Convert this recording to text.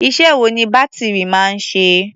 Iṣẹ́ wo ni bátìrì máa ń ṣe?